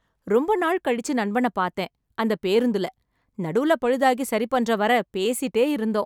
ரொம்ப நாள் கழிச்சு நண்பன பாத்தேன் அந்த பேருந்துல. நடுவுல பழுதாகி சரி பண்ற வரை பேசிட்டே இருந்தோம்.